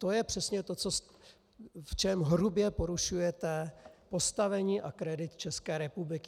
To je přesně to, v čem hrubě porušujete postavení a kredit České republiky.